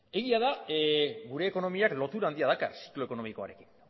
egia da gure ekonomiak lotura handiak daukala ziklo ekonomikoarekin